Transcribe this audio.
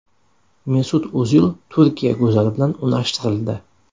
Mesut O‘zil Turkiya go‘zali bilan unashtirildi.